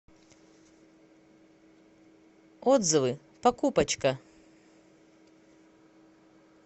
отзывы покупочка